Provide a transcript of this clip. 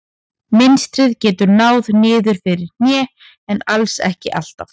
Mynstrið getur náð niður fyrir hné en alls ekki alltaf.